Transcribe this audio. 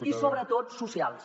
i sobretot socials